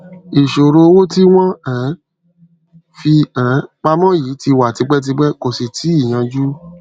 ìṣòro owó tí wọn um fi um pamọ yìí ti wà tipẹtipẹ kò sì tíì yanjú